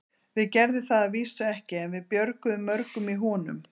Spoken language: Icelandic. Við gerðum það að vísu ekki, en við björguðum mörgum í honum.